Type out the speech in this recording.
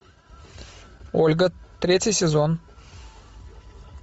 ольга третий сезон